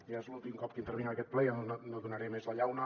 ja és l’últim cop que intervinc en aquest ple i ja no donaré més la llauna